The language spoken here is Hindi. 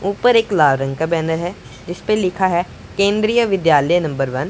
ऊपर एक लाल रंग का बैनर है जिसपे लिखा है केंद्रीय विद्यालय नंबर वन ।